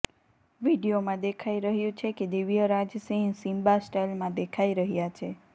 વીડિયોમાં દેખાઇ રહ્યું છે કે દિવ્યરાજસિંહ સિમ્બા સ્ટાઇલમાં દેખાઇ રહ્યાં છે